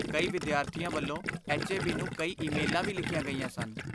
ਕਈ ਵਿਦਿਆਰਥੀਆਂ ਵੱਲੋਂ ਐਚ.ਏ.ਬੀ. ਨੂੰ ਕਈ ਈਮੇਲਾਂ ਵੀ ਲਿਖੀਆਂ ਗਈਆਂ ਸਨ।